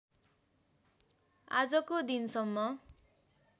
आजको दिनसम्म